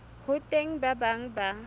ho teng ba bang ba